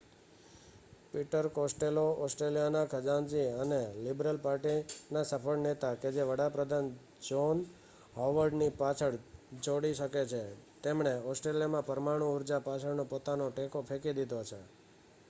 Peter Costello ઓસ્ટ્રેલિયાના ખજાનચી અને લિબરલ પાર્ટીના સફળ નેતા કે જે વડા પ્રધાન જ્હોન હોવર્ડ ને પાછળ છોડી શકે છે તેમણે ઓસ્ટ્રેલિયામાં પરમાણુ ઉર્જા પાછળનો પોતાનો ટેકો ફેંકી દીધો છે